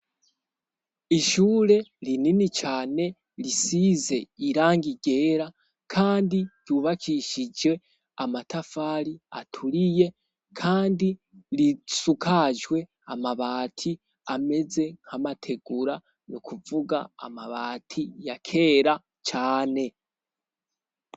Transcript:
Ishure rinini cane risize irangi ryera, kandi ryubakishije amatafari aturiye, kandi risakajwe amabati ameze nk'amategura nukuvuga amabati ya kera cane.